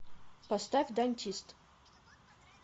поставь дантист